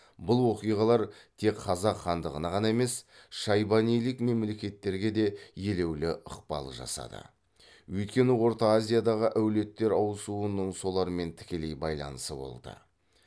бұл оқиғалар тек қазақ хандығына ғана емес шайбанилік мемлекеттерге де елеулі ықпал жасады өйткені орта азиядағы әулеттер ауысуының солармен тікелей байланысы болды